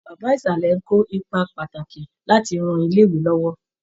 Bàbá ìsàlè ń kó ipa pàtàkì láti rán ilé-ìwé lọ́wọ́.